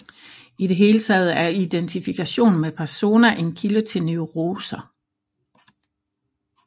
I det hele taget er identifikation med persona en kilde til neuroser